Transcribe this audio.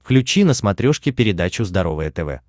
включи на смотрешке передачу здоровое тв